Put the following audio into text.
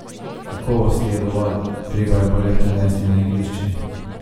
Kakovosti je dovolj, treba jo bo le prenesti na igrišče.